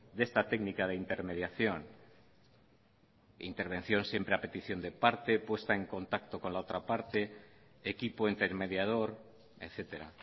de esta técnica de intermediación intervención siempre a petición de parte puesta en contacto con la otra parte equipo intermediador etcétera